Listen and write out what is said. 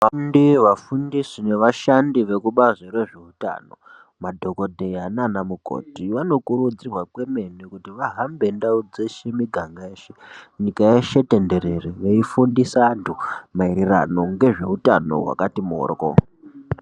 Vafundi, vafundisi nevashandi vekubazi rezveutano, madhokoteya nana mukoti vanokurudzirwa kwemene kuti vahambe ndau dzeshe nemuganga yeshe, nyika yeshe tenderere veifundisa andu mairirano ngezveutano wakati mworwo.